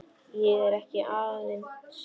Ég er ekki aðeins ljón.